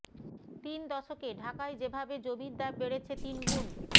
তিন দশকে ঢাকায় যেভাবে জমির দাম বেড়েছে তিন গুণ